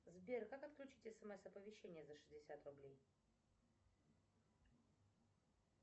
сбер как отключить смс оповещения за шестьдесят рублей